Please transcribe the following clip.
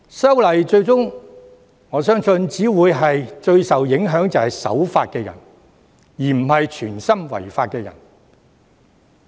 因此，我相信修訂《條例》最終只會影響守法的人，而非有心違法的人。